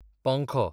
पंखो